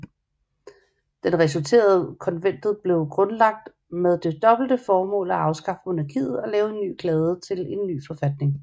Den resulterende Konventet blev grundlagt med det dobbelte formål at afskaffe monarkiet og lave en kladde til en ny forfatning